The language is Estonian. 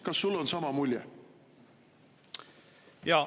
Kas sul on sama mulje?